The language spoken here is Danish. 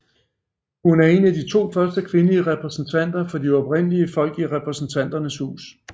Hun var en af de første to kvindelige repræsentanter for de oprindelige folk i Repræsentanternes Hus